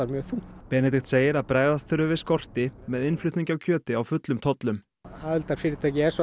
mjög þungt Benedikt segir að bregðast þurfi við skorti með innflutningi á kjöti á fullum tollum aðildarfyrirtæki